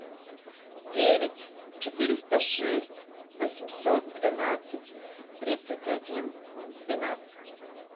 девять четыреста шесть восемьсот двенадцать тридцать один двенадцать